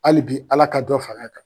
Hali bi Ala ka dɔ far'a kan.